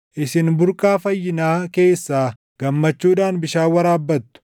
Isin burqaa fayyinaa keessaa gammachuudhaan bishaan waraabbattu.